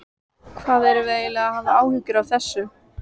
Hvað erum við eiginlega að hafa áhyggjur af þessu?